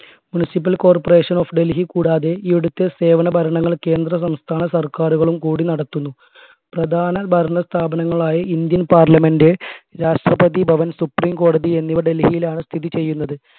muncipal corporation of Delhi കൂടാതെ ഇവിടുത്തെ സേവന ഭരണങ്ങൾ കേന്ദ്ര-സംസ്ഥാന സർക്കാരുകളും കൂടി നടത്തുന്നു പ്രധാന ഭരണ സ്ഥാപനങ്ങൾ ആയി Indian parliament Rashtrapati Bhavan supreme കോടതി എന്നിവ ഡൽഹിയിലാണ് സ്ഥിതി ചെയ്യുന്നത്